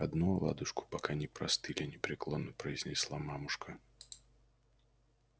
одну оладушку пока не простыли непреклонно произнесла мамушка